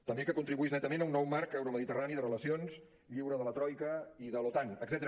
també que contribuís netament a un nou marc euromediterrani de relacions lliure de la troica i de l’otan etcètera